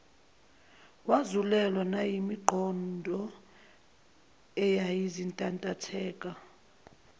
wazulelwa nayingqondo eyayisintantatheka